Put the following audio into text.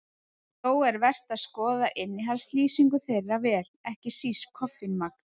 Þó er vert að skoða innihaldslýsingu þeirra vel, ekki síst koffínmagn.